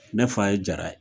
Ne fa ye Jara ye.